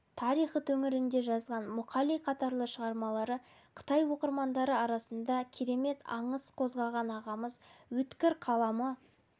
тарихы төңірегінде жазған мұқали қатарлы шығармалары қытай оқырмандары арасында керемет аңыс қозғаған ағамыз өткір қаламы